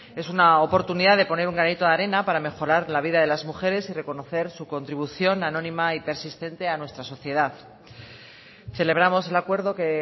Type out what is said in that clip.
es una oportunidad de poner un granito de arena para mejorar la vida de las mujeres y reconocer su contribución anónima y persistente a nuestra sociedad celebramos el acuerdo que